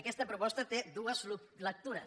aquesta proposta té dues lectures